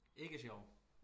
Ikke sjov